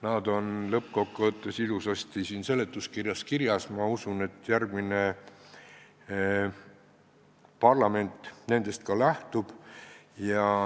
Need on lõppkokkuvõttes ilusasti seletuskirjas kirjas, ma usun, et järgmine parlament nendest ka lähtub.